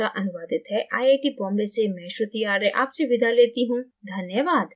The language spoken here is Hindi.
यह स्क्रिप्ट जया द्वारा अनुवादित है आई आई टी बॉम्बे से मैं श्रुति आर्य आपसे विदा लेती हूँ धन्यवाद